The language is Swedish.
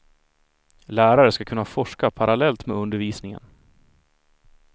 Lärare ska kunna forska parallellt med undervisningen.